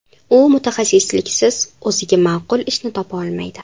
U mutaxassisliksiz o‘ziga ma’qul ishni topa olmaydi.